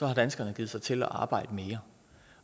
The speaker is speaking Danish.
har danskerne givet sig til at arbejde mere